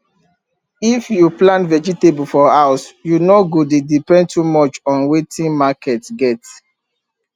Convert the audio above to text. if you plant vegetable for house you no go dey depend too much on wetin market get